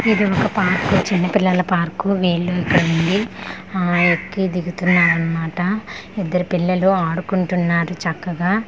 ఇది ఒక పార్క్ చైనా పిల్లల పార్క్ వీళ్ళు ఇక్కడ ఉండి ఎక్కి దిగుతున్నారు అన్నమాట ఇద్దరు పిల్లలు అడుకుంటున్నారు చక్కగా .]